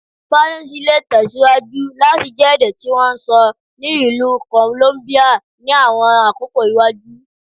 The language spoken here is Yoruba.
Spanish le tẹsiwaju lati jẹ ede ti won n sọ ni Ilu Columbia ni awọn akoko iwaju